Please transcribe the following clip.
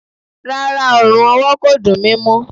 Rárá, ọrùn ọwọ kò dùn mi mó.